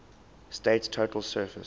state's total surface